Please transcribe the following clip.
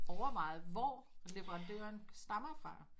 Overvejet hvor leverandøren stammer fra